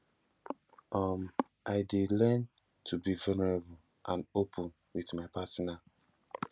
um i dey learn to be vulnerable and open with my partner